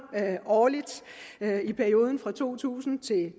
årligt i perioden to tusind til